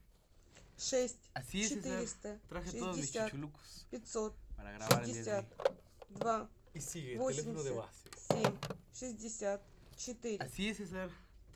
шесть четыреста шестьдесят пятьсот шестьдесят два восемьдесят семь шестьдесят четыре